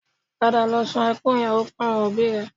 Padà lọ sun ẹkún ìyàwó fún àwọn òbí rẹ